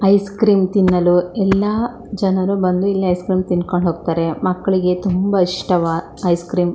Ice cream ತಿನ್ನಲು ಎಲ್ಲಾ ಜನರು ಬಂದು ಇಲ್ಲಿ ಐಸ್ ಕ್ರೀಮ್ ತಿಂದಕೊಂಡ ಹೋಗತ್ತರೆ ಮಕ್ಕಳಿಗೆ ತುಂಬಾ ಇಷ್ಟವಾ ಐಸ್ ಕ್ರೀಮ್ .